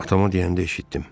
Atama deyəndə eşitdim.